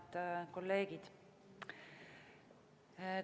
Head kolleegid!